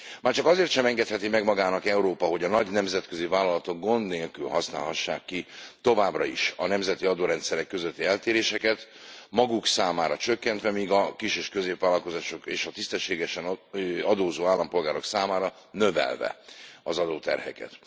Már csak azért sem engedheti meg magának Európa, hogy a nagy nemzetközi vállalatok továbbra is gond nélkül kihasználhassák a nemzeti adórendszerek közötti eltéréseket, maguk számára csökkentve, míg a kis és középvállalkozások és a tisztességesen adózó állampolgárok számára növelve az adóterheket.